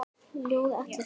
Ljóð: Atli Þormar